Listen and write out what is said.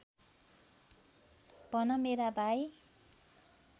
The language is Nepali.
भन मेरा भाइ